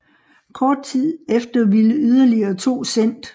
Kort tid efter ville yderligere to sendt